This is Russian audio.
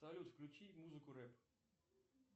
салют включи музыку рэп